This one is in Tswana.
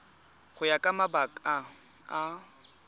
go ya ka mabaka a